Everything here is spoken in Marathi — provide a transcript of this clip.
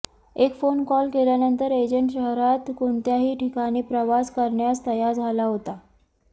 एक फोन कॉल केल्यानंतर एजंट शहरात कोणत्याही ठिकाणी प्रवास करण्यास तयार झाला होता